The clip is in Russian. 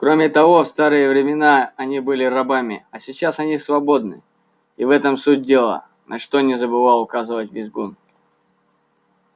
кроме того в старые времена они были рабами а сейчас они свободны и в этом суть дела на что не забывал указывать визгун